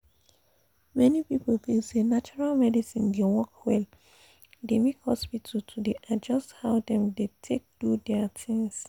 many people feel say natural medicine dey work well e de make hospital to dey adjust how dem dey take do their things